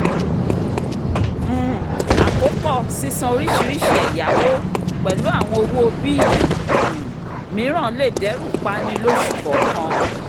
um àkópọ̀ sísan oríṣiríṣi ẹ̀yáwó pẹ̀lú àwọn owó bíìlì um mìíràn lè dẹ́rù pani lóṣù kọ̀ọ̀kan